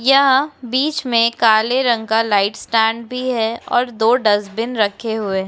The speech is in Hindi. यह बीच में काले रंग का लाइट स्टैण्ड भी है और दो डस्टबिन रखे हुए --